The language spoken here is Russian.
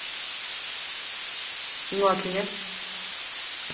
ну а что нет